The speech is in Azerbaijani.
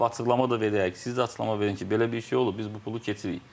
Açıqlama da verərik, siz də açıqlama verin ki, belə bir şey olub, biz bu pulu keçirik.